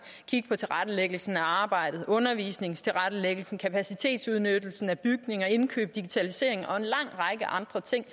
kigge på tilrettelæggelsen af arbejdet undervisningstilrettelæggelsen kapacitetsudnyttelsen af bygninger indkøb digitalisering og en lang række andre ting